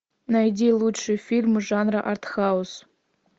найди лучшие фильмы жанра арт хаус